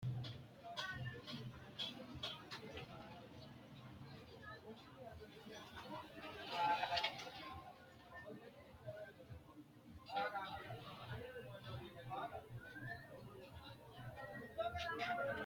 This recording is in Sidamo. Mannu addi addi ogimma hooronsire babbaxitinno e'o afiratte yee loosinno uduunichi aanoti addi addi horo sagale wodhe itatte lowo horo uyiitanno